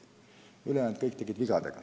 Kõik ülejäänud tegid vigu.